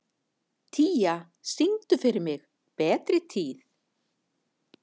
Tía, syngdu fyrir mig „Betri tíð“.